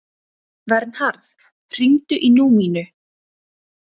Vernharð, hringdu í Númínu.